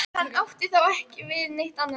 Hann átti þá ekki við neitt annað.